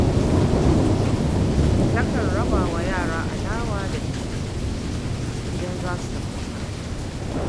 Takan raba wa yara alawa da biskit idan za su tafi makaranta.